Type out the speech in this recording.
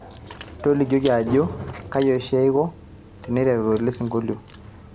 tolikioki ajo kaji oshi eiko teneiteru elesingolio